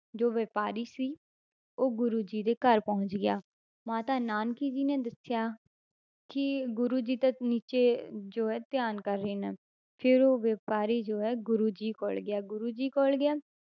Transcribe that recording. ਜੋ ਵਾਪਾਰੀ ਸੀ ਉਹ ਗੁਰੂ ਜੀ ਦੇ ਘਰ ਪਹੁੰਚ ਗਿਆ, ਮਾਤਾ ਨਾਨਕੀ ਜੀ ਨੇ ਦੱਸਿਆ ਕਿ ਗੁਰੂ ਜੀ ਤਾਂ ਨੀਚੇ ਜੋ ਹੈ ਧਿਆਨ ਕਰ ਰਹੇ ਨੇ, ਫਿਰ ਉਹ ਵਾਪਾਰੀ ਜੋ ਹੈ ਗੁਰੂ ਜੀ ਕੋਲ ਗਿਆ ਗੁਰੂ ਜੀ ਕੋਲ ਗਿਆ,